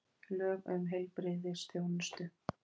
Lög um heilbrigðisþjónustu.